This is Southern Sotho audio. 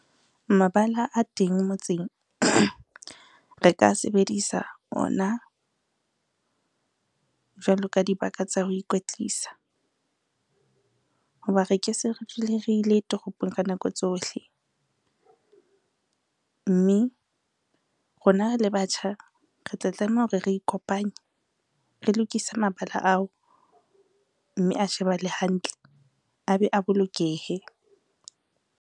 Mabala a teng motseng re ka sebedisa ona, jwalo ka dibaka tsa ho ikwetlisa. Ho ba re ke se re dule re ile toropong ka nako tsohle, mme rona re le batjha, re tla tlameha hore re ikopanye re lokisa mabala ao mme a shebahale hantle, a be a bolokehe.